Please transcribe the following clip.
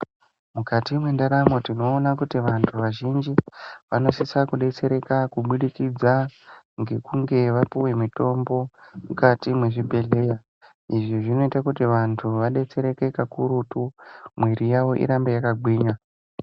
Mukati mwendaramo tinoona kuti vanhu vazhinji vanosise kudetsereka kubudikidza ngekunge vapuwe mitombo mukati mwezvibhedhera. Izvi zvinoite kuti vantu vadetsereke kakurutu mwiri yavo irambe yakagwinya.